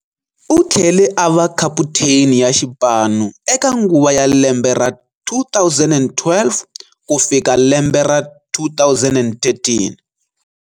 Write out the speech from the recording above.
U tlhele a va khaputheni ya xipano eka nguva ya lembe ra 2012 ku fika lembe ra 2013.